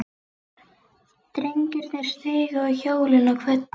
Drengirnir stigu á hjólin og kvöddu.